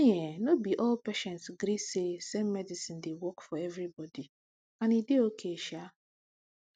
see ehnno be all patients gree say same medicine dey work for everybody and e dey okay sha